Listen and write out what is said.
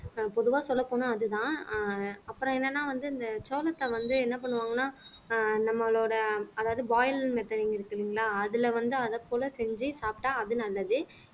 ஆஹ் பொதுவா சொல்லப்போனா அதுதான் அப்புறம் என்னன்னா வந்து இந்த சோளத்தை வந்து என்ன பண்ணுவாங்கன்னா ஆஹ் நம்மளோட அதாவது boiler methoding இருக்கு இல்லீங்களா அதுல வந்து அதைப்போல செஞ்சு சாப்பிட்டா அது நல்லது